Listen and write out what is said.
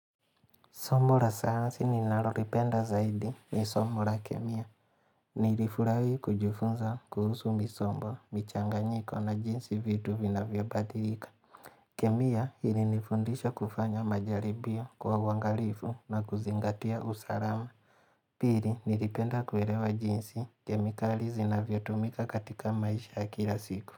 Somo la sayansi ninalolipenda zaidi ni somo la kemia. Nilifurahi kujifunza kuhusu misombo, michanganyiko na jinsi vitu vinavyobadilika. Kemia ilinifundisha kufanya majaribio kwa uangalifu na kuzingatia usalama. Pili nilipenda kuelewa jinsi kemikali zinavyotumika katika maisha ya kila siku.